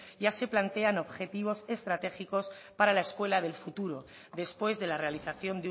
ya se plantean objetivos estratégicos para la escuela del futuro después de la realización